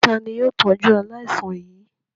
Ta ni yóò tọ́jú aláìsàn yìí?